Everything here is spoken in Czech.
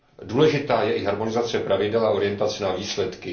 Důležitá je i harmonizace pravidel a orientace na výsledky.